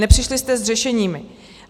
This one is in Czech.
Nepřišli jste s řešením.